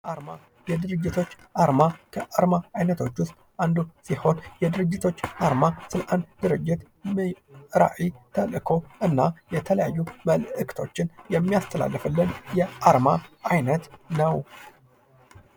አርማ፦ የድርጅቶች አርማ ከአርማ አይነቶች ዉስጥ አንዱ ሲሆን የድርጅቶች አርማ ስልጣን ድርጅት ራዕይ ፣ተልዕኮ እና የተለያዩ መልዕክቶችን የሚያስተላልፍልን የአርማ አይነት ነው።